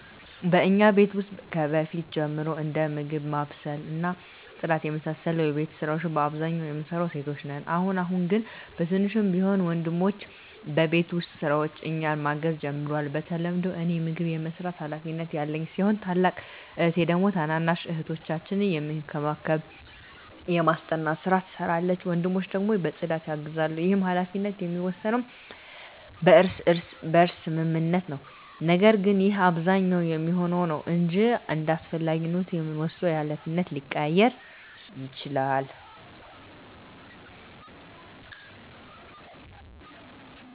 በእኛ ቤት ውስጥ ከበፊት ጀምሮ እንደ ምግብ ማብሰል እና ጽዳት የመሳሰሉ የቤት ስራወች በአብዛኛው የምንሰራው ሴቶች ነን። አሁን አሁን ግን በትንሹም ቢሆን ወንድሞቸ በቤት ውስጥ ስራዎች እኛን ማገዝ ጀምረዋል። በተለምዶ እኔ ምግብ የመስራት ሀላፊነት ያለኝ ሲሆን ታላቅ እህቴ ደግሞ ታናናሽ እህቶቻችንን የመንከባከብና የማስጠናት ስራ ትሰራለች። ወንድሞቸ ደግሞ በፅዳት ያግዛሉ። ይህ ሀላፊነት የሚወሰነው በእርስ በርስ ስምምነት ነው። ነገር ግን ይህ በአብዛኛው የሚሆነው ነው እንጅ እንዳስፈላጊነቱ የምንወስደው ሀላፊነት ሊቀያየር ይችላል።